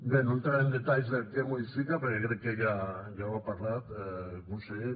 bé no entraré en detalls del que modifica perquè crec que ja n’ha parlat conseller